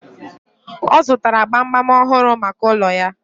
Ọ zụtara gbamgbam ọhụrụ maka ụlọ ya..